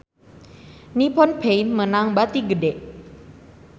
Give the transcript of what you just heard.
Nippon Paint meunang bati gede